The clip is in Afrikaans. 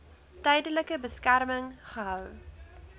tydelike beskerming gehou